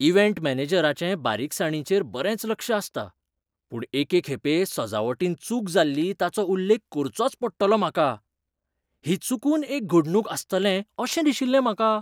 Event मॅनेजराचें बारीकसाणींचेर बरेंच लक्ष आसता. पूण एके खेपे सजावटींत चूक जाल्ली ताचो उल्लेख करचोच पडटलो म्हाका. ही चुकून एक घडणूक आसतअशें दिशिल्लें म्हाका.